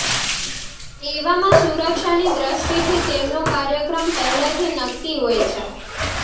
એવામાં સુરક્ષાની દ્રષ્ટિથી તેમનો કાર્યક્રમ પહેલેથી નક્કી હોય છે